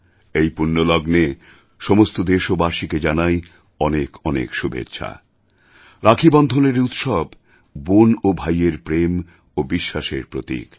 এই পুণ্যলগ্নে সমস্ত দেশবাসীকে জানাই অনেক অনেক শুভেচ্ছা রাখীবন্ধনের এই উৎসব বোন ও ভাইয়ের প্রেম ও বিশ্বাসের প্রতীক